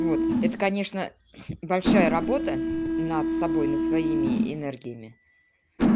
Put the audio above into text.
вот это конечно большая работа над собой над своими энергиями